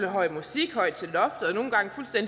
og høj musik højt